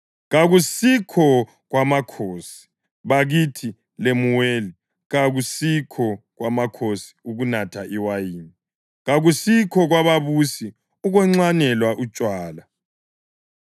Kakusikho kwamakhosi, bakithi Lemuweli kakusikho kwamakhosi ukunatha iwayini, kakusikho kwababusi ukunxwanela utshwala,